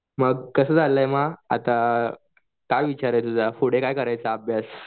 मग कसं चालू आहे मग आता काय विचार चालू आहे पुढे काय करायचा अभ्यास?